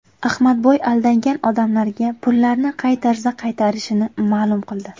Ahmadboy aldangan odamlarga pullarni qay tarzda qaytarishini ma’lum qildi.